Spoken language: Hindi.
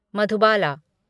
मधुबाला